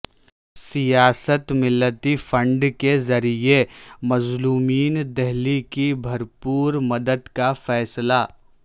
سیاست ملت فنڈ کے ذریعہ مظلومین دہلی کی بھرپور مدد کا فیصلہ